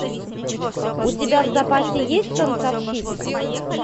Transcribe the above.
у тебя в запасе есть танцовщица